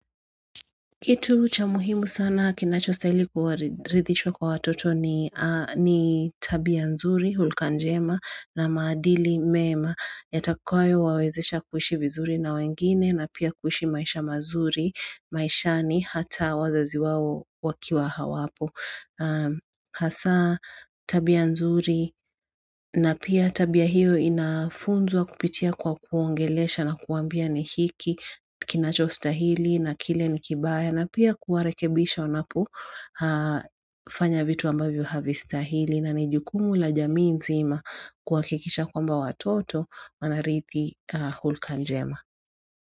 Kitu cha muhimu sana kinachostahili kuwaridhishwa kwa watoto ni tabia nzuri, hulka njema na maadili mema. Yatakayo wawezesha kuhishi vizuri na wengine na pia kuhishi maisha mazuri, maisha ni hata wazazi wawo wakiwa hawapo. Hasa tabia nzuri na pia tabia hiyo inafunzwa kupitia kwa kuongelesha na kuambia ni hiki kinachostahili na kile ni kibaya. Na pia kuwarekebisha wanapo fanya vitu ambavyo havistahili na nejukumu la jamii nzima kuhakikisha kwamba watoto manarithi hulka njema.